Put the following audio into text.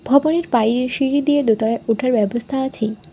ভবনের বাইরে সিঁড়ি দিয়ে দোতলায় ওঠার ব্যবস্থা আছে।